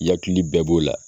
Yakili bɛɛ b'o la